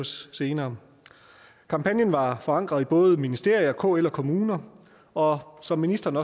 senere kampagnen var forankret i både ministerier kl og kommuner og som ministeren